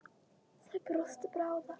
Þær brostu báðar.